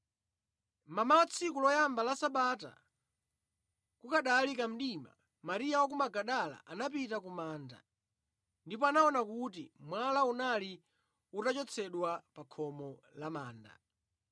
Mmamawa tsiku loyamba la sabata, kukanali kamdimabe, Mariya wa ku Magadala anapita ku manda ndipo anaona kuti mwala unali utachotsedwa pa khomo la manda.